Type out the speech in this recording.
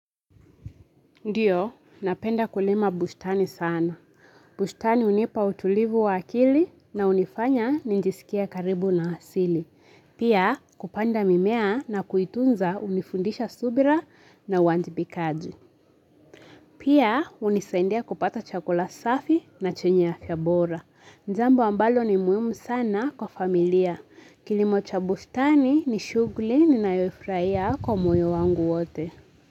Ndiyo, napenda kulma bustani sana. Bushtani unipa utulivu wa akili na hunifanya ninjisikie karibu na asili. Pia kupanda mimea na kuitunza hunifundisha subira na wanjibikaji. Pia hunisaindia kupata chakula safi na chenye afya bora. Jambo ambalo ni muhimu sana kwa familia. Kilimo cha bushtani ni shughuli ninayoifurahia kwa moyo wangu wote.